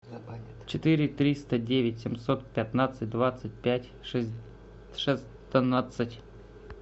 четыре триста девять семьсот пятнадцать двадцать пять шестнадцать